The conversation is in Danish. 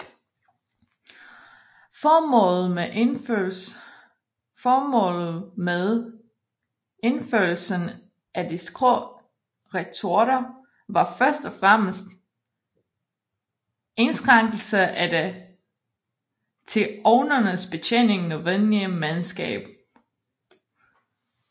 Formålet med indførelsen af de skrå retorter var først og fremmest indskrænkelse af det til ovnenes betjening nødvendige mandskab